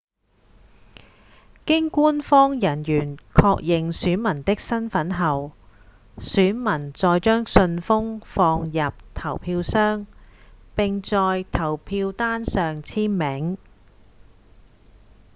經官方人員確認選民的身份後選民再將信封放入投票箱並在投票單上簽名